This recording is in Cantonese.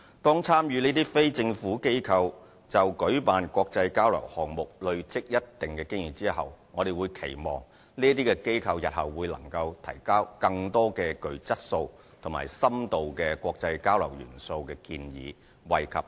當這些參與的非政府機構就舉辦國際交流項目累積一定經驗後，我們期望這些機構日後能提交更多具質素及深度國際交流元素的建議，惠及更多青年。